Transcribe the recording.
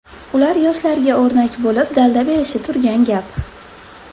Ular yoshlarga o‘rnak bo‘lib, dalda berishi turgan gap.